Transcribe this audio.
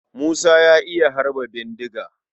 Musa ya iya harba bindiga.